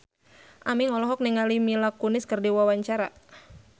Aming olohok ningali Mila Kunis keur diwawancara